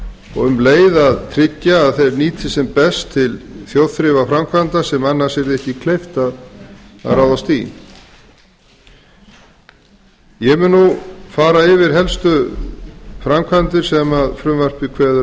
og um leið tryggja að þeir nýtist sem best til þjóðþrifaframkvæmda sem annars yrði ekki kleift að ráðast í ég mun nú fara yfir helstu framkvæmdir sem frumvarpið kveður á